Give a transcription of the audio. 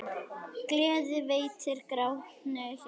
Gleði veitir grátnu hjarta.